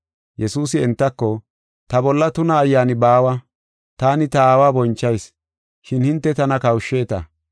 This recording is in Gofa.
Yesuusi entako “Ta bolla tuna ayyaani baawa. Taani ta Aawa bonchayis, shin hinte tana kawusheta.